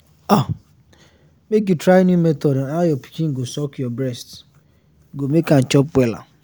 ah make you try new method on how your pikin go suck your breast go make am chop wella